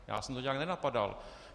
Já jsem to nijak nenapadal.